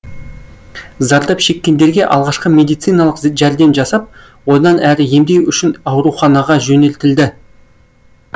зардап шеккендерге алғашқы медициналық жәрдем жасап одан әрі емдеу үшін ауруханаға жөнелтілді